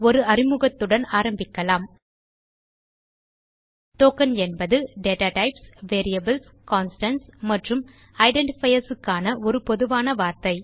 ஒரு அறிமுகத்துடன் ஆரம்பிக்கலாம் டோக்கன் என்பது டேட்டா டைப்ஸ் வேரியபிள்ஸ் கான்ஸ்டன்ட்ஸ் மற்றும் ஐடென்டிஃபயர்ஸ் க்கான ஒரு பொதுவான வார்த்தை